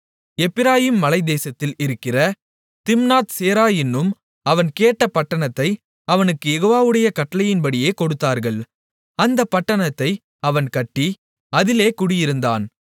எப்பிராயீமின் மலைத்தேசத்தில் இருக்கிற திம்னாத் சேரா என்னும் அவன் கேட்ட பட்டணத்தை அவனுக்குக் யெகோவாவுடைய கட்டளையின்படியே கொடுத்தார்கள் அந்தப் பட்டணத்தை அவன் கட்டி அதிலே குடியிருந்தான்